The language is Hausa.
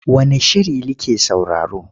Wane shiri like sauraro?